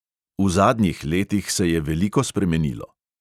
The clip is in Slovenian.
V zadnjih letih se je veliko spremenilo.